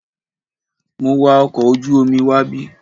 Mo wa ọkọ̀ ojú omi wábí.